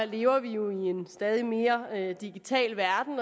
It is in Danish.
lever vi jo i en stadig mere digital verden